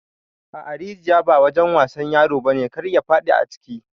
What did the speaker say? A'a rijiƴa ba wajen wasan ƴaro bane kar ya fadi aciki.